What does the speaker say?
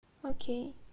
окей